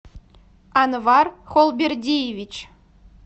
анвар холбердиевич